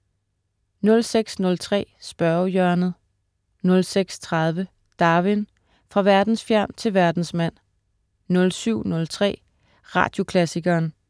06.03 Spørgehjørnet* 06.30 Darwin: Fra verdensfjern til verdensmand* 07.03 Radioklassikeren*